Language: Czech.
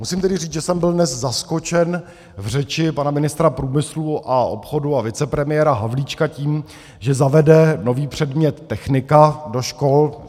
Musím tedy říct, že jsem byl dnes zaskočen v řeči pana ministra průmyslu a obchodu a vicepremiéra Havlíčka tím, že zavede nový předmět technika do škol.